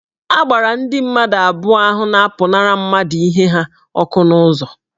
A gbara ndị mmadụ abụọ ahụ na-apụnara mmadụ ihe ha ọkụ n'okporo ụzọ